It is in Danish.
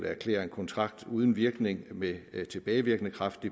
at erklære en kontrakt uden virkning med tilbagevirkende kraft